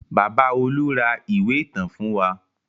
Bàbá Olú ra ìwé ìtàn fún wa.